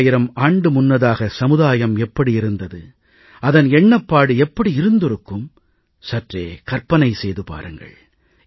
ஓராயிரம் ஆண்டு முன்னதாக சமுதாயம் எப்படி இருந்தது அதன் எண்ணப்பாடு எப்படி இருந்திருக்கும் சற்றே கற்பனை செய்து பாருங்கள்